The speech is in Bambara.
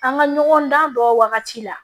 An ka ɲɔgɔn dan dɔ wagati la